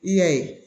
I y'a ye